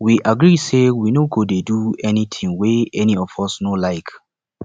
we agree say we no go dey do anything wey any of us no like